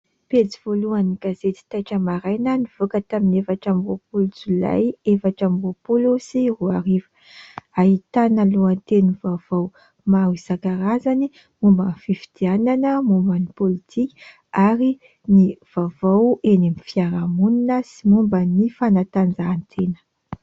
Pejy voalohan'ny gazety "Taitra maraina" nivoaka tamin'ny efatra amby roapolo jolay, efatra amby roapolo sy roa arivo. Ahitana lohatenin'ny vaovao maro isan-karazany momban'ny fifidianana, momban'ny politika ary ny vaovao eny amin'ny fiarahamonina sy momban'ny fanatanjahantena.